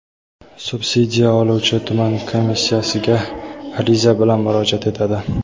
subsidiya oluvchi tuman komissiyasiga ariza bilan murojaat etadi.